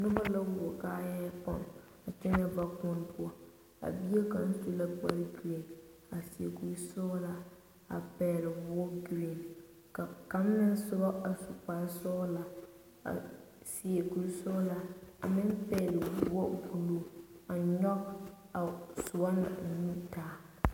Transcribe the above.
Noba la wuo kaaya pɔge a kyɛnɛ vakuoni poɔ a bie kaŋa su la kpare gerene a seɛ kuri sɔglaa a pɛgle woɔ gerene ka kaŋ meŋ soba a su kpare sɔglaa a seɛ kuri sɔglaa meŋ pɛgle woɔ buluu a nyɔge a o soba na nu taa.